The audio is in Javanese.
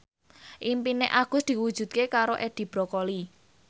impine Agus diwujudke karo Edi Brokoli